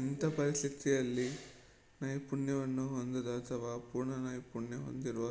ಇಂಥ ಪರಿಸ್ಥಿತಿಯಲ್ಲಿ ನೈಪುಣ್ಯವನ್ನು ಹೊಂದದ ಅಥವಾ ಅಪೂರ್ಣ ನೈಪುಣ್ಯ ಹೊಂದಿರುವ